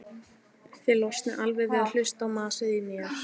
Þið losnið alveg við að hlusta á masið í mér.